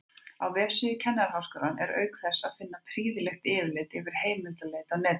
Á vefsíðu Kennaraháskólans er auk þess að finna prýðilegt yfirlit yfir heimildaleit á netinu.